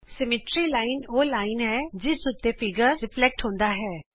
ਸਮਮਿਤੀ ਰੇਖਾ ਉਹ ਰੇਖਾ ਹੈ ਜਿਸ ਉੱਤੇ ਚਿੱਤਰ ਪ੍ਰਤਿਬਿੰਬਤ ਹੁੰਦਾ ਹੈ